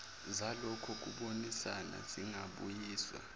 zalokho kubonisana zingabuyiswa